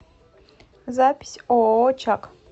запись ооо чак